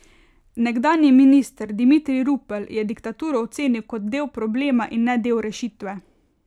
Nekdanji minister Dimitrij Rupel je diktaturo ocenil kot del problema in ne del rešitve.